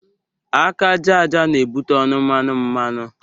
Aka ájá ájá na-ebute ọnụ mmanu mmanu.